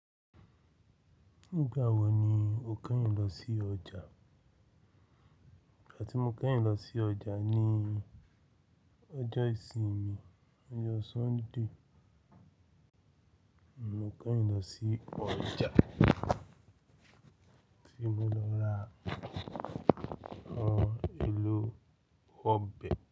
Nígbà wo ni o kẹ́yìn lọ sí ọjà? Ìgbà tí mo kẹ́yìn lọ sí ọjà ni ọjọ́ ìsinmi, ọjọ́ Sunday. Mo kẹ́yìn lọ sí ọjà tí mo lọ ra àwọn èlò ọbẹ̀